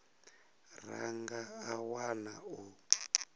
ra nga a wana u